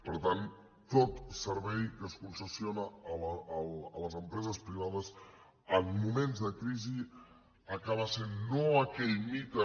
per tant tot servei que es concessiona a les empreses privades en moments de crisi acaba sent no aquell mite